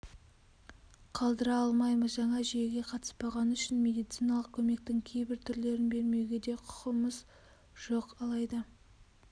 қалдыра алмаймыз жаңа жүйеге қатыспағаны үшін медициналық көмектің кейбір түрлерін бермеуге де құқымыз жоқ алайда